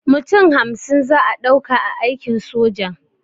Mutum hamsin za'a ɗauka a aikin sojan